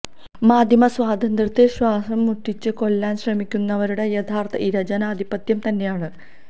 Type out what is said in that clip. മാധ്യമ സ്വാതന്ത്ര്യത്തെ ശ്വാസം മുട്ടിച്ച് കൊല്ലാന് ശ്രമിക്കുന്നവരുടെ യഥാര്ഥ ഇര ജനാധിപത്യം തന്നെയാണ്